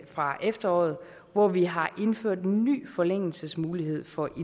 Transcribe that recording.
fra efteråret hvor vi har indført en ny forlængelsesmulighed for